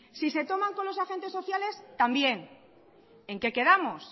si se toman con los agentes sociales también en que quedamos